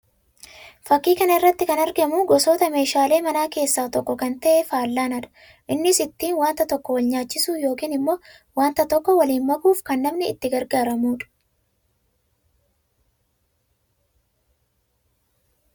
Fakkii kana irratti kan argamu gosoota meeshaalee manaa keessaa tokko kan ta'e fallaanaa dha. Innis ittiin wanta tokko wal nyaachisuu yookiin immoo wanta tokko waliin makuuf kan namni itti gargaaramuu dha.